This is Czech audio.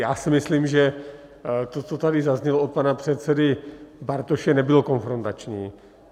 Já si myslím, že to, co tady zaznělo od pana předsedy Bartoše, nebylo konfrontační.